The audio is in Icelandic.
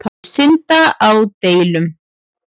Að synda á delunum.